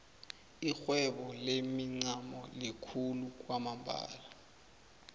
irhwebo lemincamo likhulu kwamambala